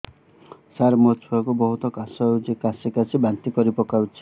ସାର ମୋ ଛୁଆ କୁ ବହୁତ କାଶ ହଉଛି କାସି କାସି ବାନ୍ତି କରି ପକାଉଛି